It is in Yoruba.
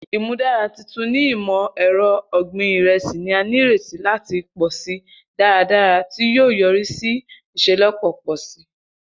Imudara tuntun ni imọ-ẹrọ ogbin iresi ni a nireti lati pọ si daradara, ti o yori si iṣelọpọ pọ si.